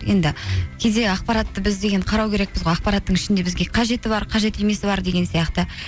енді кейде ақпаратты біз деген қарау керекпіз ғой ақпараттың ішінде бізге қажеті бар қажет емесі бар деген сияқты